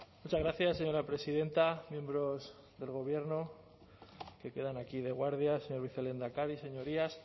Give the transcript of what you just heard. muchas gracias señora presidenta miembros del gobierno que quedan aquí de guardia señor vicelehendakari señorías